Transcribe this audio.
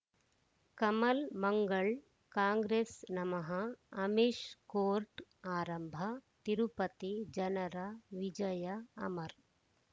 Kamal Mangal Congress ನಮಃ Amish court ಆರಂಭ ತಿರುಪತಿ ಜನರ ವಿಜಯ ಅಮರ್